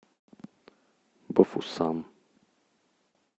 бафусам